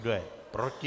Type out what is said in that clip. Kdo je proti?